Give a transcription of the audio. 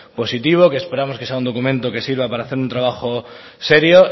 positivo que esperamos que sea un documento que sirva para hacer un trabajo serio